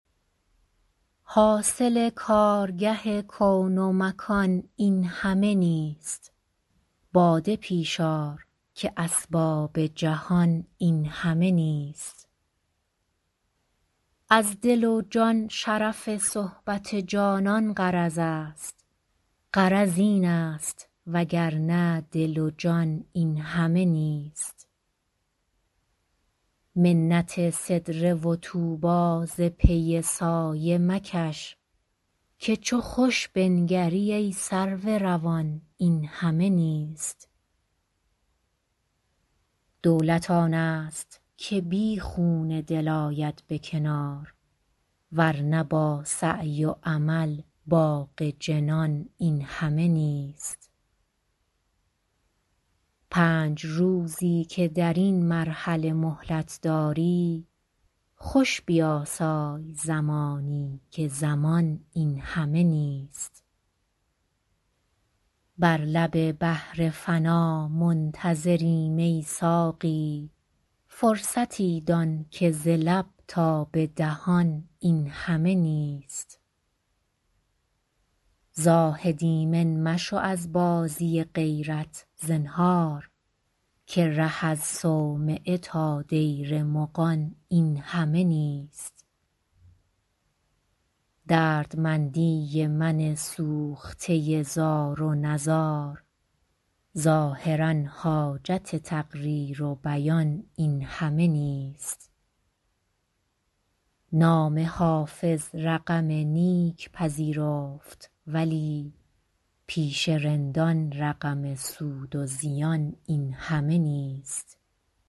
حاصل کارگه کون و مکان این همه نیست باده پیش آر که اسباب جهان این همه نیست از دل و جان شرف صحبت جانان غرض است غرض این است وگرنه دل و جان این همه نیست منت سدره و طوبی ز پی سایه مکش که چو خوش بنگری ای سرو روان این همه نیست دولت آن است که بی خون دل آید به کنار ور نه با سعی و عمل باغ جنان این همه نیست پنج روزی که در این مرحله مهلت داری خوش بیاسای زمانی که زمان این همه نیست بر لب بحر فنا منتظریم ای ساقی فرصتی دان که ز لب تا به دهان این همه نیست زاهد ایمن مشو از بازی غیرت زنهار که ره از صومعه تا دیر مغان این همه نیست دردمندی من سوخته زار و نزار ظاهرا حاجت تقریر و بیان این همه نیست نام حافظ رقم نیک پذیرفت ولی پیش رندان رقم سود و زیان این همه نیست